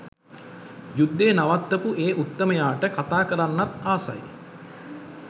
යුද්ධය නවත්තපු ඒ උත්තමයාට කතා කරන්නත් ආසයි.